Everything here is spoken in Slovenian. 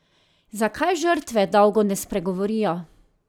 Zakaj žrtve dolgo ne spregovorijo?